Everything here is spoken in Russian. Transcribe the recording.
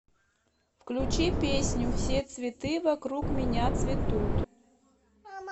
включи песню все цветы вокруг меня цветут